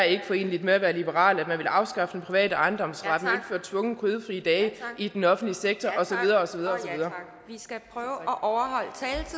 ikke er foreneligt med at være liberal at man vil afskaffe den private ejendomsret og indføre tvungne kødfrie dage i den offentlige sektor og og